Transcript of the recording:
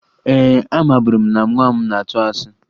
Ee, amaburu m na nwa m na-atụ asị